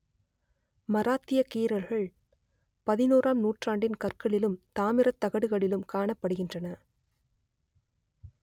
மராத்திய கீறல்கள் பதினோராம் நூற்றாண்டின் கற்களிலும் தாமிரத் தகடுகளிலும் காணப்படுகின்றன